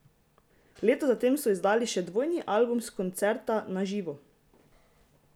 Leto za tem so izdali še dvojni album s koncerta Na živo!